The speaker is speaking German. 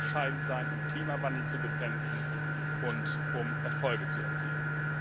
Das wird entscheidend sein, um den Klimawandel zu bekämpfen und um Erfolge zu erzielen.